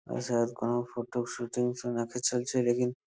কোনো photo shooting চলছে লেকিন।